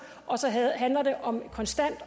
og om konstant